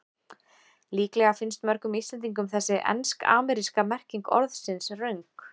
Líklega finnst mörgum Íslendingum þessi ensk-ameríska merking orðsins röng.